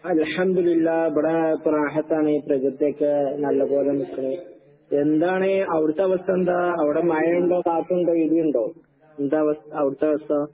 അൽഹംദുലില്ലാഹ്. ഇബടെ ഇപ്പ റാഹത്താണ്. പ്രകൃതിയൊക്കെ നല്ല പോലെ നിക്ക്ണ്. എന്താണ് അവടത്തവസ്ഥെന്താ? അവടെ മഴിണ്ടോ കാറ്റ്ണ്ടോ ഇടിയിണ്ടോ? എന്താവസ് അവിടത്തവസ്ഥ?